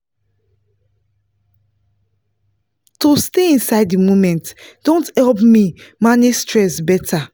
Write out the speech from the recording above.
to stay inside the moment don help me manage stress better